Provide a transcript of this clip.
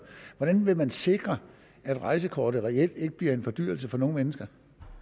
hvordan vil man sikre at rejsekortet reelt ikke bliver en fordyrelse for nogen mennesker